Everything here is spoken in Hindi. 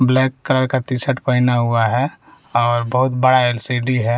ब्लैक कलर का टीशर्ट पहना हुआ है और बहुत बड़ा एल_सी_डी है।